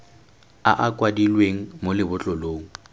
a a kwadilweng mo lebotlolong